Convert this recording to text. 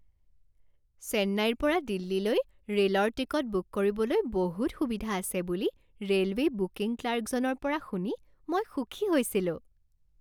চেন্নাইৰ পৰা দিল্লীলৈ ৰে'লৰ টিকট বুক কৰিবলৈ বহুত সুবিধা আছে বুলি ৰে'লৱে বুকিং ক্লাৰ্কজনৰ পৰা শুনি মই সুখী হৈছিলোঁ।